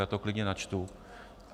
Já to klidně načtu.